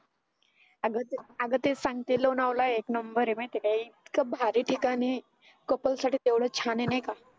अग ते अग ते सांगते लोणावळा एक नंबर आहे माहिती आहे का ए इतक भारी ठिकाण आहे couple साठी केवढं छान आहे नाही का